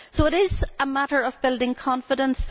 So it is a matter of building confidence